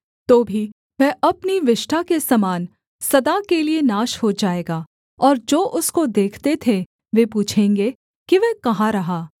तो भी वह अपनी विष्ठा के समान सदा के लिये नाश हो जाएगा और जो उसको देखते थे वे पूछेंगे कि वह कहाँ रहा